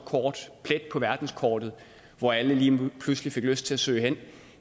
plet på verdenskortet hvor alle lige pludselig fik lyst til at søge hen